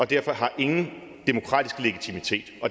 derfor ingen demokratisk legitimitet